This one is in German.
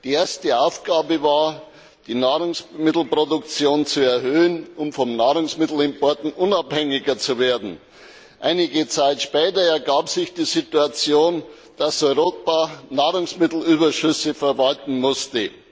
Die erste Aufgabe war, die Nahrungsmittelproduktion zu erhöhen, um von Nahrungsmittelimporten unabhängiger zu werden. Einige Zeit später ergab sich die Situation, dass Europa Nahrungsmittelüberschüsse verwalten musste.